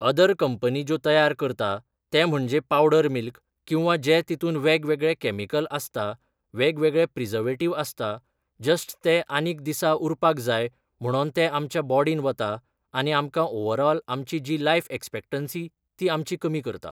other company ज्यो तयार करता ते म्हणजे पावडर मिल्क किंवा जे जितुन वेगवेगळे कॅमिकल आसता वेगवेगळे प्रिजवेटिव आसता जस्ट ते आनीक दिसा उरपाक जाय म्हणोन ते आमच्या बोडिन वता आनी आमकां ओवरोल आमची जी लायफ एक्सपेक्टेन्सी ती आमची कमी करता